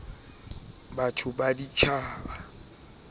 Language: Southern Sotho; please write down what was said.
e menyenyane ha e na